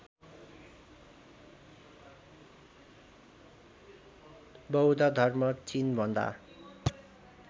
बौद्ध धर्म चिनभन्दा